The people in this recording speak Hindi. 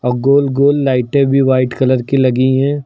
गोल गोल लाइटें भी व्हाइट कलर की लगी हैं।